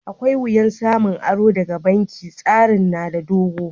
Akwai wiyya samun aro daga banki. Tsarin na da dogo.